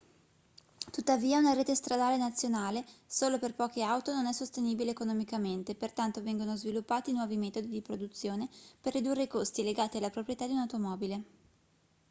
tuttavia una rete stradale nazionale solo per poche auto non è sostenibile economicamente pertanto vengono sviluppati nuovi metodi di produzione per ridurre i costi legati alla proprietà di un'automobile